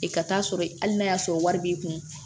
E ka taa sɔrɔ hali n'a y'a sɔrɔ wari b'i kun